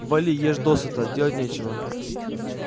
вали ешь досыта делать нечего